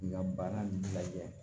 K'i ka baara lajɛ